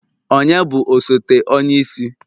Ònye bụ osote onye isi?